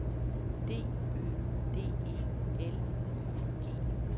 D Ø D E L I G